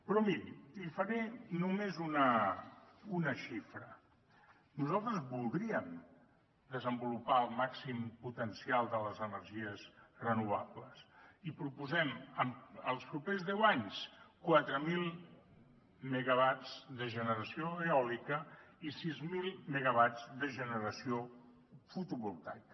però miri li’n faré només una xifra nosaltres voldríem desenvolupar el màxim potencial de les energies renovables i proposem en els propers deu anys quatre mil megawatts de generació eòlica i sis mil megawatts de generació fotovoltaica